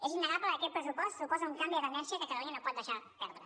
és innegable que aquest pressupost suposa un canvi de tendència que catalunya no pot deixar perdre